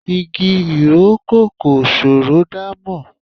Igi ìrókò kò ṣòro dámọ̀.